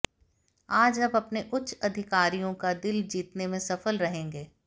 आज आप अपने उच्च अधिकारियों का दिल जीतने में सफल रहेंगे